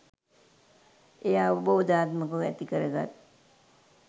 එය අවබෝධාත්මකව ඇතිකරගත්